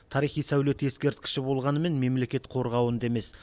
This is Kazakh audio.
тарихи сәулет ескерткіші болғанымен мемлекет қорғауында емес